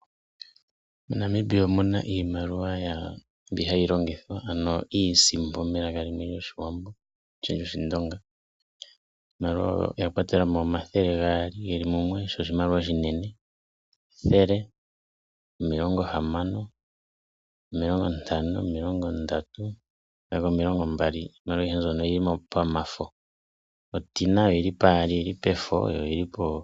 MoNamibia omuna iimaliwa mbi hayi longithwa ano iisimpo melaka limwe lyoshindonga. Oya kwatelemo omathele gaali mbono iinene yili mumwe, ethele, omilongo hamano, omilongo ndatu, omilongo mbali, oshowo oondola omulongo odhili pamaludhi gaali yimwe efo yimwe onkukutu.